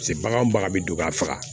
Paseke bagan bagan bɛ don ka faga